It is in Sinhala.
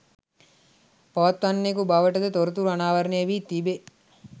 පවත්වන්නකු බවටද තොරතුරු අනාවරණයවී තිබේ